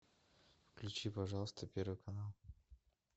включи пожалуйста первый канал